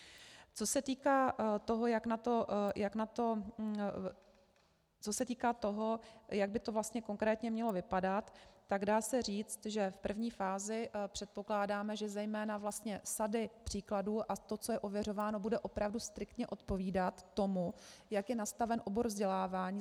Co se týká toho, jak by to vlastně konkrétně mělo vypadat, tak dá se říct, že v první fázi předpokládáme, že zejména vlastně sady příkladů a to, co je ověřováno, bude opravdu striktně odpovídat tomu, jak je nastaven obor vzdělávání.